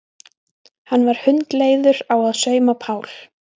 Hann var hundleiður á að sauma Pál.